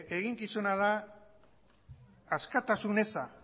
eginkizuna da askatasun eza